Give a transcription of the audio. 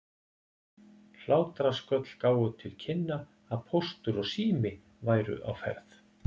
Hlátrasköll gáfu til kynna að Póstur og Sími væru á ferð.